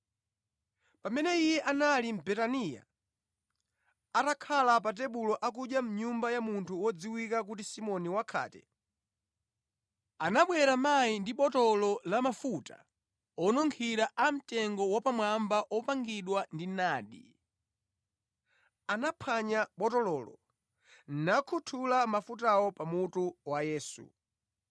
Pamene Iye anali mʼBetaniya, atakhala pa tebulo akudya mʼnyumba ya munthu wodziwika kuti Simoni wakhate, anabwera mayi ndi botolo la mafuta onunkhira amtengo wapamwamba opangidwa ndi nadi. Anaphwanya botololo nakhuthula mafutawo pa mutu wa Yesu.